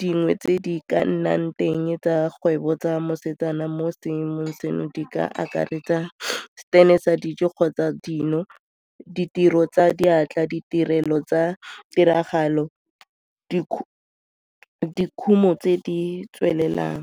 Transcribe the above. dingwe tse di ka nnang teng tsa kgwebo tsa mosetsana mo seemong seno di ka akaretsa stand-e sa dijo kgotsa dino, ditiro tsa diatla, ditirelo tsa tiragalo, dikhumo tse di tswelelang.